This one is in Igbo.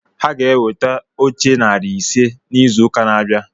Ha ga-eweta oche narị ise n'izu ụka na-abịa